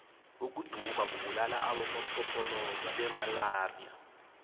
ukuduma kubulala abonompopoloza bemalaxia